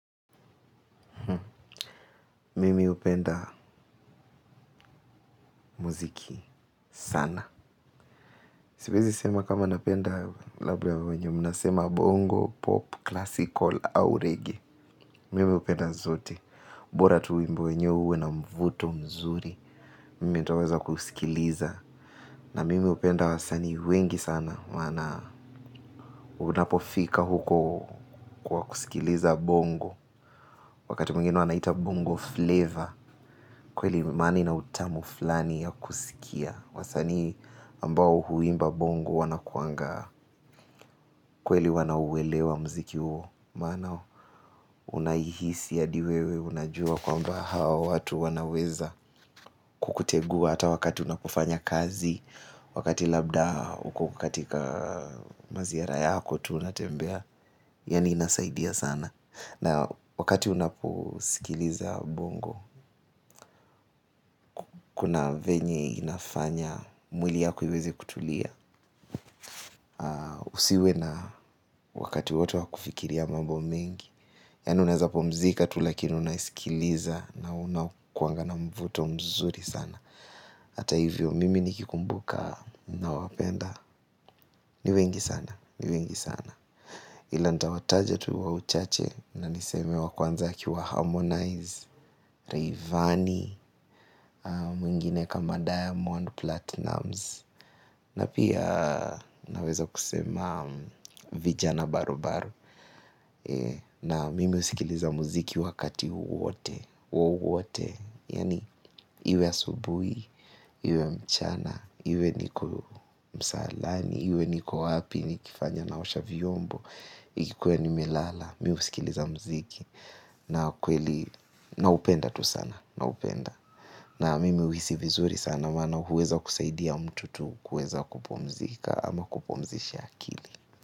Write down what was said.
Mimi hupenda muziki sana. Siwezi sema kama napenda labda wenye, mnasema bongo, pop, classical, au reggae. Mimi upenda zote. Bora tu wimbo wenyewe uwe na mvuto mzuri. Mimi ntaweza kusikiliza. Na mimi hupenda wasanii wengi sana wana unapofika huko kwa kusikiliza bongo. Wakati mwingine wanaita bongo flavor. Kweli imani na utamu flani ya kusikia. Wasani ambao huimba bongo wanakuanga kweli wanauwelewa mziki huo maana unaihisi hadi wewe unajua kwamba hao watu wanaweza kukutegua hata wakati unapofanya kazi wakati labda uko katika maziara yako tu unatembea yaani inasaidia sana na wakati unaposikiliza bongo kuna venye inafanya mwili yako iweze kutulia. Usiwe na wakati wote wa kufikiria mambo mengi yaani unaeza pumzika tu lakini unaisikiliza na unakuanga na mvuto mzuri sana hata hivyo mimi nikikumbuka ninaowapenda ni wengi sana, ni wengi sana ila nitawataja tu wa uchache na niseme wa kwanza akiwa harmonize Rayvanny mwingine kama diamond platinumz na pia naweza kusema vijana barubaru na mimi husikiliza muziki wakati wowote, wowote, yaani iwe asubuhi, iwe mchana, iwe niko msalani, iwe niko wapi, nikifanya naosha vyombo, ikiwa nimelala, mimi husikiliza mziki na kweli naupenda tu sana, naupenda. Na mimi huhisi vizuri sana maana huweza kusaidia mtu tu kuweza kupumzika ama kupumzisha akili.